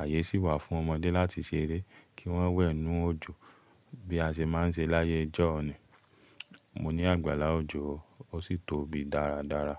àyè sì wà fún ọmọdé láti ṣeré kí wọ́n wẹ̀ n inú òjò bí a ṣe máa ń ṣe láyé ọjọ́ ní. Mo ní àgbàlá òjò, ó sì tóbi dáradára.